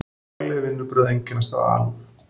Fagleg vinnubrögð einkennast af alúð.